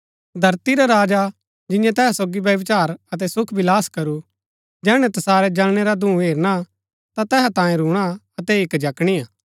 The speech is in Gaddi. धरती रै राजा जिन्यैं तैहा सोगी व्यभिचार अतै सुखविलास करू जैहणै तसारै जलणै रा धूँ हेरणा ता तैहा तांयें रूणा अतै हिक्क जकणिआ